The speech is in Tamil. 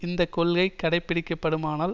இந்த கொள்கை கடைப்பிடிக்கப்படுமானால்